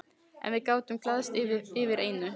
En við gátum glaðst yfir einu.